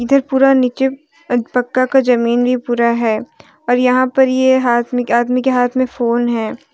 इधर पूरा नीचे एक पक्का का जमीन भी पूरा है और यहां पर ये आदमी के हाथ में फोन है।